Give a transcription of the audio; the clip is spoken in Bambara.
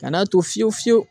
Ka n'a to fiyewu fiyewu